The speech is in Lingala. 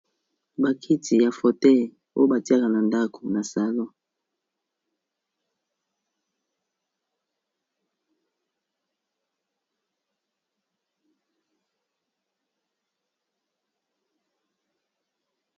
Ba kiti ya fauteuil oyo batiaka na ndako na salon.